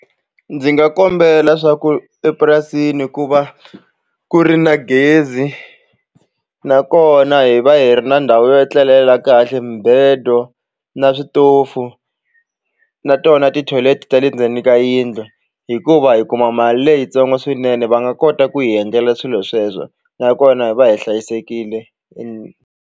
Ndzi nga kombela swa ku epurasini ku va ku ri na gezi nakona hi va hi ri na ndhawu yo etlelela kahle mibedo na switofu na tona ti-toilet ta le ndzeni ka yindlu hikuva hi kuma mali leyitsongo swinene va nga kota ku hi endlela swilo sweswo nakona hi va hi hlayisekile.